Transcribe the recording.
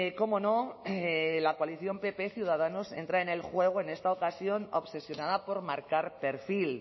cómo no la coalición pp ciudadanos entra en el juego en esta ocasión obsesionada por marcar perfil